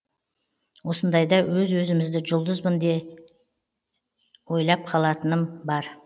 осындайда өз өзімді жұлдызбын ба деп ойлап қалатыным бар